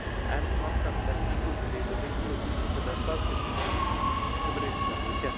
Enn vantar á þekkingu um riðuveiki og vísindalega staðfestingu á ýmsu, sem reynslan hefur kennt.